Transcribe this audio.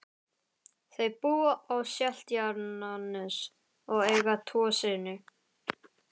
Þau búa á Seltjarnarnesi og eiga tvo syni.